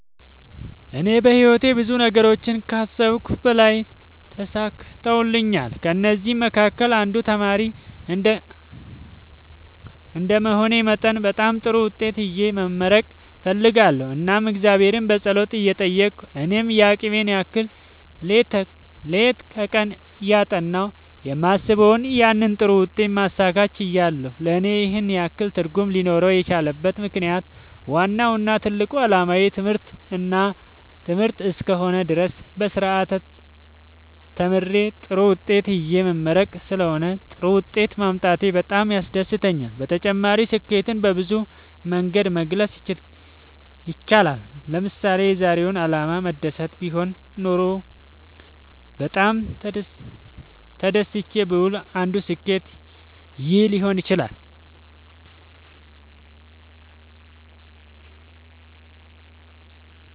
እኔ በህይወቴ ብዙ ነገሮችን ከአሰብሁት በላይ ተሳክተውልኛል ከእነዚህም መካከል አንዱ ተማሪ እንደመሆኔ መጠን በጣም ጥሩ ውጤት ይዤ መመረቅ እፈልጋለሁ እናም እግዚአብሔርን በጸሎት እየጠየቅሁ እኔም የአቅሜን ያህል ሌት ከቀን እያጠናሁ የማስበውን ያንን ጥሩ ውጤት ማሳካት ችያለሁ ለእኔ ይህን ያህል ትርጉም ሊኖረው የቻለበት ምክንያት ዋናው እና ትልቁ አላማዬ ትምህርት እስከ ሆነ ድረስ በስርአት ተምሬ ጥሩ ውጤት ይዤ መመረቅ ስለሆነ ጥሩ ውጤት ማምጣቴ በጣም ያስደስተኛል። በተጨማሪ ስኬትን በብዙ መንገድ መግለፅ ይቻላል ለምሳሌ የዛሬው አላማዬ መደሰት ቢሆን ኖሮ በጣም ተደስቼ ብውል አንዱ ስኬት ይህ ሊሆን ይችላል